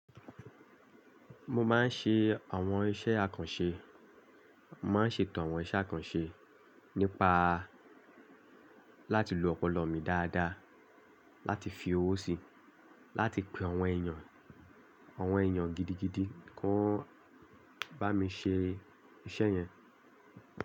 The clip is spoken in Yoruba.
Mo máa ń ṣe àwọn iṣẹ́ àkànṣe, mo máa ń ṣètò àwọn iṣẹ́ àkànṣe nípa láti lo ọpọlọ mi dáadáa, láti fi owó sí, láti pe àwọn èèyàn, àwọn èèyàn gidigidi kó n bá mi ṣe iṣẹ́ yẹn.